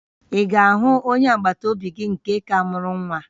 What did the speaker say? Ị ga-ahụ onye agbataobi gị nke ka mụrụ nwa?